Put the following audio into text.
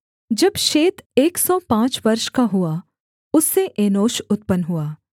जब शेत एक सौ पाँच वर्ष का हुआ उससे एनोश उत्पन्न हुआ